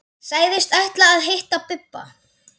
Sagðist ætla að hitta Bibba.